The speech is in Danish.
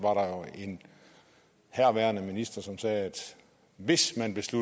en herværende minister som sagde at hvis man